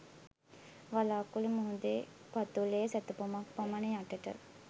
වලාකුළු මුහුදේ පතුලේ සැතපුමක් පමණ යටට